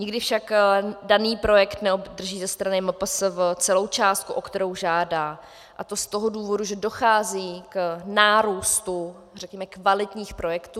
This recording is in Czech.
Nikdy však daný projekt neobdrží ze strany MPSV celou částku, o kterou žádá, a to z toho důvodu, že dochází k nárůstu kvalitních projektů.